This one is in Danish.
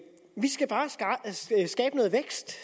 skal bare skabe noget vækst